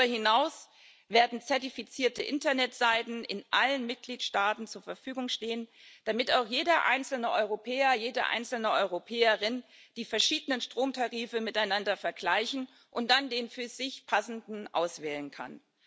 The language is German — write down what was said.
Darüber hinaus werden zertifizierte Internetseiten in allen Mitgliedstaaten zur Verfügung stehen, damit auch jeder einzelne Europäer, jede einzelne Europäerin die verschiedenen Stromtarife miteinander vergleichen und dann den für sich passenden auswählen kann.